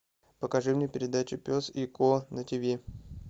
покажи мне передачу пес и ко на тв